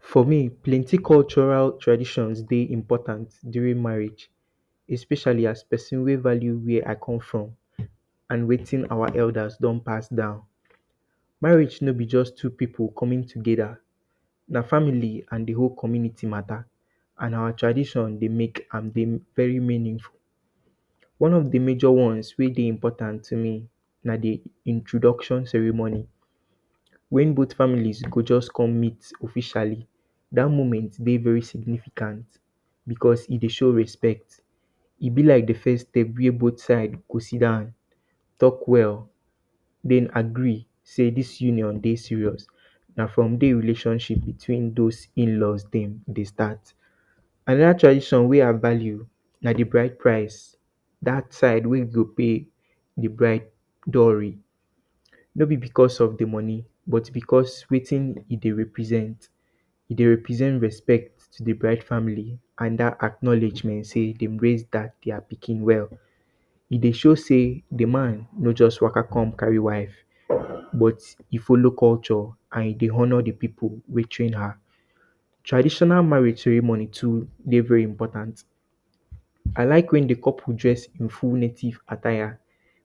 For me, plenti cultural traditions dey important during marriage, especially pesin wey value where I come from and wetin our elders don pass down. Marriage no bi just two pipu coming togeda, na family and di whole community mata. And our tradition dey mek very meaningful. One of di major ones wey dey important na di introduction ceremony, wen both families go just come meet officially, dat moment dey very significant because e dey show respect, e bi lak di first step wey both sides go sit down, talk well, den agree say dis union dey serious, na from there relationship between those inlaw dem dey start anoda tradition wey I value na di bride price. Dat time wey you go pay di bride dowry. No bi because of di moni but because of wetin e dey represent. E dey represent respect to di bride family and dat acknowledgment say de raise dia pikin well. E dey show say di man no just waka come carry wife. But, e follow culture and we dey honour di pipu wey train her. Traditional marriage ceremony too dey very important. I lak wen di couple dress in full native attire,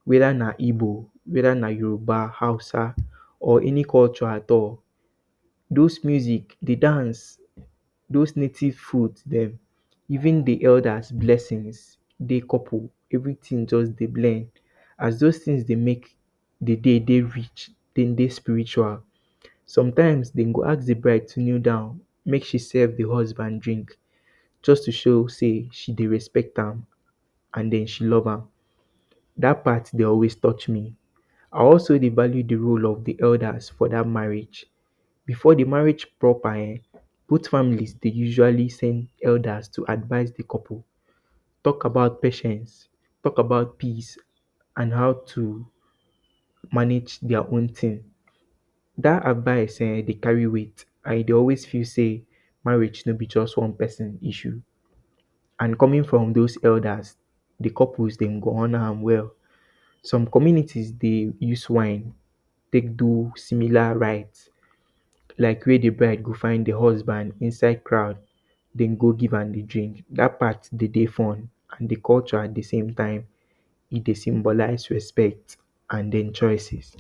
wed ana igbo, wed ana Yoruba, Hausa or any culture at all. Dis music, di dance, those native foods dem even di elder blessings, di couple, everytin just dey blend. As those tins dey mek di day dey rich, dem dey spiritual. Sometimes, de go ask di bride to kneel down, mek she serve di husband drink just to show say she dey respect am and den, she love am. Dat part dey always touch me, I also dey value di roles of di elders for dat marriage. Before di marriage proper ehn, both family dey usually send elders to advise di couple talk about patience, talk about peace and how to manage dia own. Dat advice ehn, dey carry weight and e dey always feel say marriage no bi just one pesin issue and coming from those elders, di couples dem go honour am well. Some communities dey use wine tek do similar rites lak wey di bride go find di husband inside crowd den, go give am di drink, dat part dey dey fun and di culture di same time dey symbolize respect and den choices